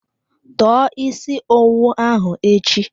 Tọọ isi owu ahụ echi!